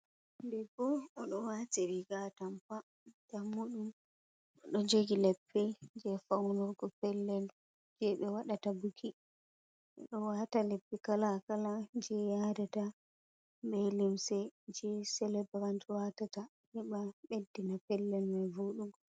Debbo odo wati riga atampa jammudum odo jogi leppi je faunurgo pellel je be wadata buki odo wata leppi kala kala je yadata be limse je celebrant watata heba beddina pellel mai vodugo.